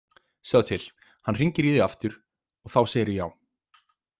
Sjáðu til, hann hringir í þig aftur og þá segirðu já.